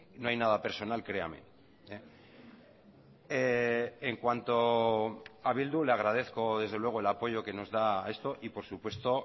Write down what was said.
no hay nada personal créame en cuanto a bildu le agradezco desde luego el apoyo que nos da a esto y por supuesto